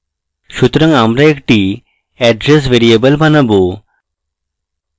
সুতরাং আমরা একটি address ভ্যারিয়েবল বানাবো